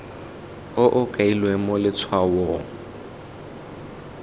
o o kailweng mo letshwaong